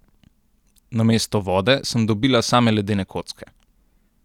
Namesto vode sem dobila same ledene kocke.